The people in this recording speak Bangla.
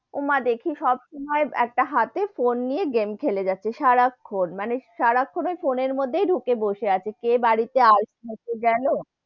ওমা দেখি সবসময় একটা হাথে একটা ফোন নিয়ে game খেলে যাচ্ছে, সারাক্ষন, মানে সারাক্ষন ওই ফোনের মধ্যে ডুকে বসে আছে কে বাড়ি তে আসছে কে গেলো,